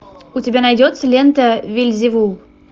у тебя найдется лента вельзевул